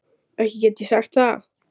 Ekki get ég sagt það.